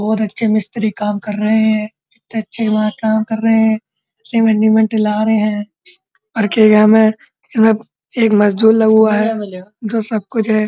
बोहोत अच्छे मिस्त्री काम रहे हैं। इतने अच्छे वहाँ काम रहे हैं। सिमेन्ट विमेन्ट ला रहे हैं। एरिया में मतलब एक मजदूर लगा हुआ है जो सब कुछ है।